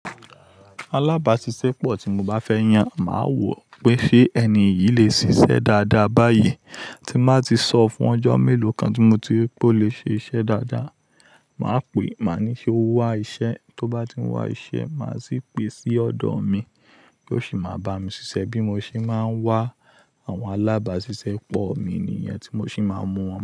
Alábàáṣiṣẹ́pọ̀ tí mo bá fẹ́ yàn, màá wò pé ṣé ẹni yìí lè ṣiṣẹ́ dáadáa báyìí tí má ti sọ fún ọjọ́ mélòó kan tí mo ti rí pé ó lè ṣe iṣẹ́ dáadáa. Màá pè é, màá ní ṣe o wá iṣẹ́, tó bá ti ń wá iṣẹ́, màá sì pè é sí ọ̀dọ̀ mi kí ó sì máa bá mi ṣiṣẹ́ bí mo ṣe máa ń wá àwọn alábàáṣiṣẹ́pọ̀ mi ní ìyẹn tí mo sì máa ń mú wọn.